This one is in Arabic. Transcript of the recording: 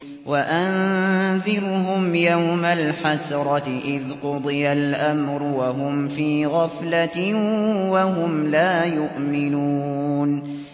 وَأَنذِرْهُمْ يَوْمَ الْحَسْرَةِ إِذْ قُضِيَ الْأَمْرُ وَهُمْ فِي غَفْلَةٍ وَهُمْ لَا يُؤْمِنُونَ